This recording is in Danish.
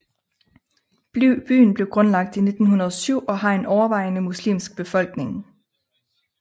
Byen blev grundlagt i 1907 og har en overvejende muslimsk befolkning